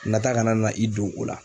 Nata kana na i don o la.